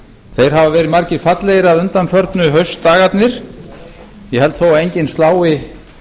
þeir hafa verið margir fallegir að undanförnu haustdagarnir ég held þó að enginn slái